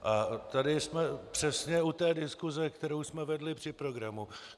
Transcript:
A tady jsem přesně u té diskuse, kterou jsme vedli při programu.